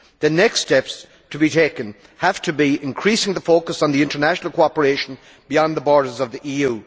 The next steps to be taken have to be to increase the focus on international cooperation beyond the borders of the EU.